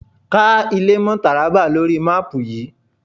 Ká ilé mọ́ Tàrábà lóri máàpù yìí.!